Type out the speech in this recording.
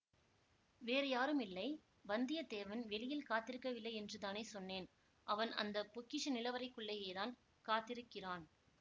வேறு யாரும் இல்லை வந்தியத்தேவன் வெளியில் காத்திருக்கவில்லை யென்றுதானே சொன்னேன் அவன் அந்த பொக்கிஷ நிலவறைக்குள்ளேயேதான் காத்திருக்கிறான்